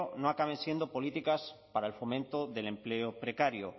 no acaben siendo políticas para el fomento del empleo precario